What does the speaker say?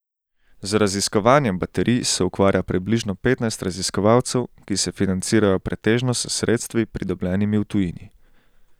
Z raziskovanjem baterij se ukvarja približno petnajst raziskovalcev, ki se financirajo pretežno s sredstvi pridobljenimi v tujini.